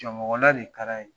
Jɔn mɔgɔ la de ye kara ye.